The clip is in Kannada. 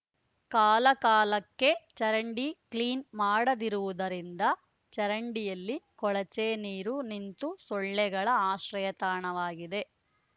ಕಾಲ ಕಾಲಕ್ಕೆ ಚರಂಡಿ ಕ್ಲೀನ್ ಮಾಡದಿರುವುದರಿಂದ ಚಂರಡಿಯಲ್ಲಿ ಕೊಳಚೆ ನೀರು ನಿಂತು ಸೊಳ್ಳೆಗಳ ಆಶ್ರಯ ತಾಣವಾಗಿದೆ